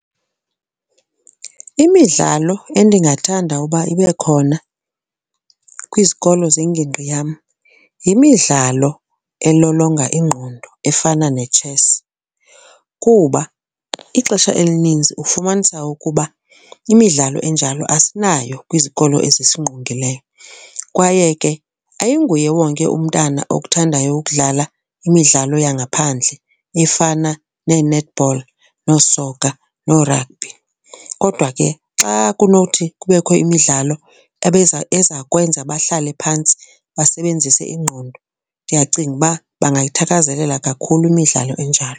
Imidlalo endingathanda uba ibe khona kwizikolo zengingqi yam yimidlalo elolonga ingqondo efana netshesi kuba ixesha elininzi ufumanisa ukuba imidlalo enjalo asinayo kwizikolo ezisingqongileyo, kwaye ke ayinguye wonke umntana okuthandayo ukudlala imidlalo yangaphandle efana nee-netball noosoka noo-rugby. Kodwa ke xa kunowuthi kubekho imidlalo ebeza eza kwenza bahlale phantsi basebenzise ingqondo, ndiyacinga uba bangayithakazelela kakhulu imidlalo enjalo.